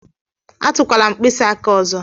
Atụkwala m mkpịsị aka ọzọ!